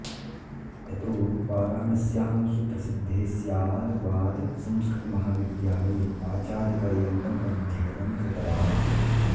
ततो वाराणस्यां सुप्रसिद्धे स्याद्वाद संस्कृत महाविद्यालये आचार्यपर्यन्तम् अध्ययनं कृतवान्